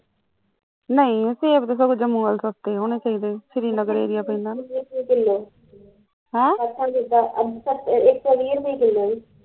ਨਹੀਂ ਸੇਬ ਤਾਂ ਸਗੋਂ ਜਮੂ ਚ ਸਸਤੇ ਹੋਣੇ ਚਾਹੀਦੇ ਆ, ਸ਼੍ਰੀ ਨਗਰ area ਪੈਂਦਾ ਨਾ ਹੈਂ